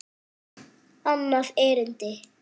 Annað erindi